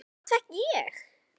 Hvorugt fékk ég.